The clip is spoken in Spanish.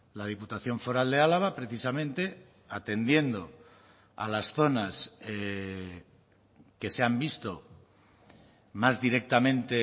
la diputación foral de álava precisamente atendiendo a las zonas que se han visto más directamente